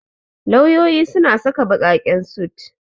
Lauyoyi suna saka baƙaƙen sut.